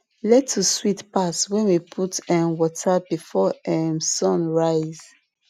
lettuce sweet pass when we put um water before um sun rise